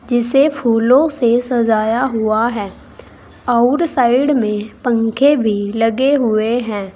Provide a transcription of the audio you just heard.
जिसे फूलों से सजाया हुआ हैं और साइड में पंखे भी लगे हुए हैं।